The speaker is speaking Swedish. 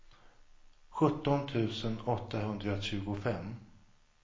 sjutton tusen åttahundratjugofem